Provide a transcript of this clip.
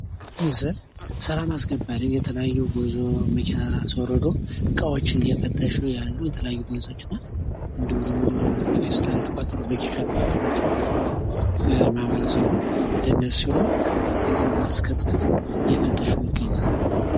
ይህ ምስል ሰላም አስከባሪ የተለያዩ ጉዞ ላይ መኪናን አሶርዶ እቃዎችን እየፈተሹ ያሉ የተለያዩ ፖሊሶች እና እንዲሁም ደግሞ በፈስታል የተቋጠሩ በኬሻ የተቋጠሩ እቃዎችን ማህበረሰቡ ለነሱ ብሎ፣ ሰላም ለማስከበር እየፈተሹ ይገግኛሉ።